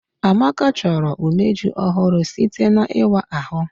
Amaka chọrọ umeji ọhụrụ site n'ịwa ahụ